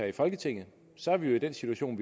i folketinget så er vi jo i den situation